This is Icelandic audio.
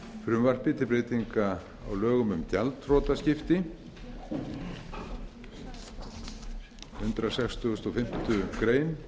frumvarpi til breytinga á lögum um gjaldþrotaskipti hundrað sextugasta og fimmtu grein